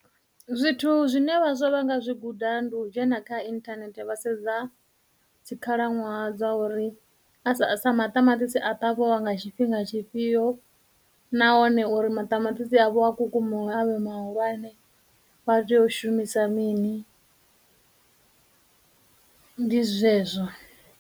Zwithu zwine vhaswa vha nga zwi guda ndi u dzhena kha internet vha sedza dzikhalaṅwaha dza uri a sa, sa maṱamaṱisi a ṱavhiwa nga tshifhinga tshifhio, nahone uri maṱamaṱisi avho a kukumuwe avhe mahulwane vha tea u shumisa mini, ndi zwezwo.